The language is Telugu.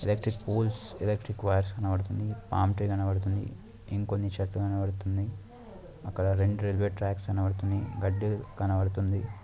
ఎలెక్ట్రిక్ పోల్స్ ఎలెక్ట్రిక్ వైర్స్ కనపడుతుంది. కనపడుతుంది. ఇంకొన్ని చెట్లు కనిపిడుతున్నాయ్. అక్కడ రెండు రైల్వే ట్రాక్స్ కనపడుతున్నాయ్. గడ్డి కనపడుతుంది.